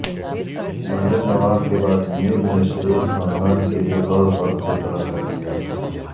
مریم نواز کے بعد نیب نے شریف خاندان کے ایک اورفردکوطلب کرلیا